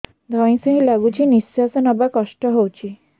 ଧଇଁ ସଇଁ ଲାଗୁଛି ନିଃଶ୍ୱାସ ନବା କଷ୍ଟ ହଉଚି